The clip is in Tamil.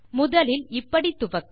முதலில் இப்படி துவக்க